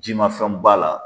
Jimafɛn b'a la.